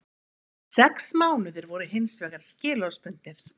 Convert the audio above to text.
Sex mánuðir voru hins vegar skilorðsbundnir